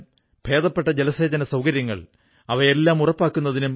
വിദ്യാഭ്യാസമുള്ള ആളുകളെ കാണുമ്പോൾ എന്റെ മനസ്സിൽ ഒരു കുറവ് അനുഭവപ്പെടും